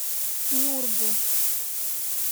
нюрбу